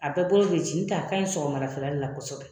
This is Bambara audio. A bɛɛ bolo bi ci . N tɛ a ka ɲi sɔgɔmadafɛla de la kɔsɔbɛ.